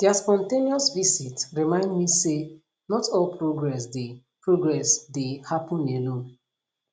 their spontaneous visit remind me say not all progress dey progress dey happen alone